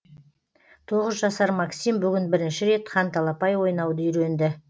тоғыз жасар максим бүгін бірінші рет ханталапай ойнауды үйренді